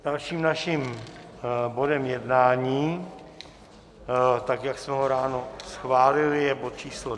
Dalším naším bodem jednání, tak jak jsme ho ráno schválili, je bod číslo